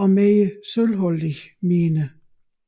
og mere sølvholdige miner